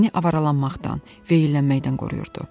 məni avaralanmaqdan, veyllənməkdən qoruyurdu.